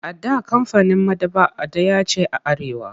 A da kamfanin maɗaba'a ɗaya ce a Arewa.